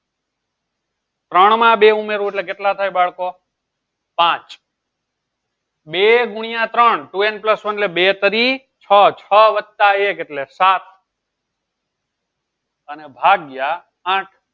ત્રણ માં બે ઉમેરું એટલે કેટલા થાય બાળકો પાંચ બે ગુણ્યા ત્રણ અને n પ્લસ વન એટલે છ વત્તા એક એટલે સાત અને ભાગ્ય આઠ